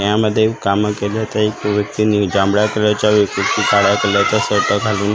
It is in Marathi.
यामध्ये कामं केले तर एक व्यक्तीनी जांभळ्या कलरच्या व्यक्तीची काळ्या कलरचा शर्ट घालून--